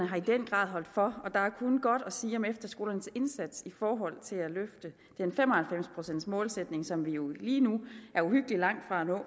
har i den grad holdt for der er kun godt at sige om efterskolernes indsats i forhold til at løfte den fem og halvfems procents målsætning som vi jo lige nu er uhyggeligt langt fra at nå og